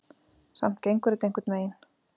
Samt gengur þetta einhvern veginn.